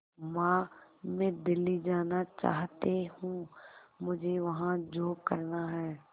मां मैं दिल्ली जाना चाहते हूँ मुझे वहां जॉब करना है